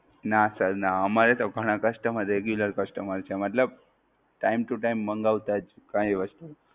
નાં Sir નાં અમારે તો ઘણાં Customer Regular Customer છે મતલબ Time to time મંગવતા જ કાંઈ વસ્તુ.